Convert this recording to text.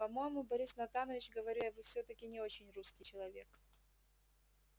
по-моему борис натанович говорю я вы всё-таки не очень русский человек